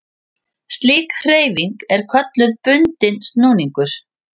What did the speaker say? Slík hreyfing er kölluð bundinn snúningur.